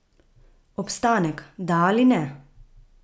Obstanek, da ali ne?